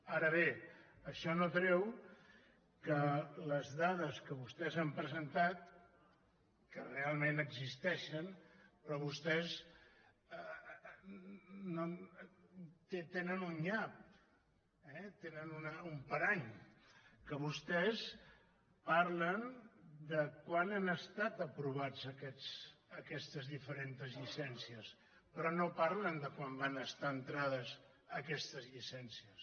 ara bé això no treu que les dades que vostès han presentat que realment existeixen però vostès tenen un nyap eh tenen un parany que vostès parlen de quan han estat aprovades aquestes diferents llicències però no parlen de quan van estar entrades aquestes llicències